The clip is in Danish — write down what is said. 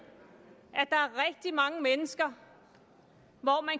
at mange mennesker